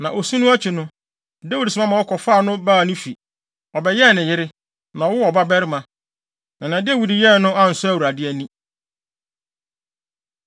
Na osu no akyi no, Dawid soma ma wɔkɔfaa no baa ne fi. Ɔbɛyɛɛ ne yere, na ɔwoo ɔbabarima. Na nea Dawid yɛe no ansɔ Awurade ani.